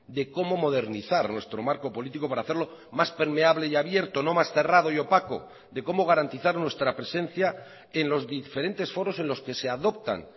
de cómo modernizar nuestro marco político para hacerlo más permeable y abierto no más cerrado y opaco de cómo garantizar nuestra presencia en los diferentes foros en los que se adoptan